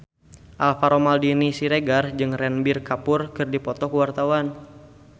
Alvaro Maldini Siregar jeung Ranbir Kapoor keur dipoto ku wartawan